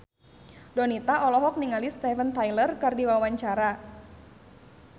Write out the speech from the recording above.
Donita olohok ningali Steven Tyler keur diwawancara